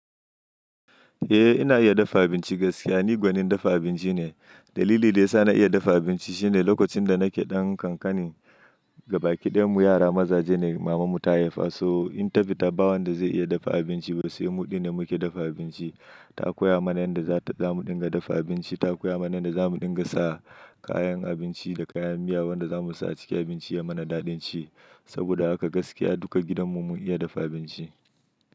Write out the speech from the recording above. Eh ina iya dafa abinci gaskiya ni gwanin dafa abinci ne. Dalili da ya sa na iya dafa abinci shine lokacin da nake ɗan kankani gabaƙi ɗayan mu yara mazaje ne maman mu ta haifa so in ta fita ɓa wanda zai iya dafa abinci ba su yi mu ɗin da muke dafa abinci. Ta koya mana yanda za ta zamu ɗinga dafa abinci ta koya mana yanda zamu ɗinga sa kayan abinci da kayan miya wanda zamu sa a cikin abinci ya mana daɗin ci. Saboda haka gaskiya duka gidan mu mun iya dafa abinci.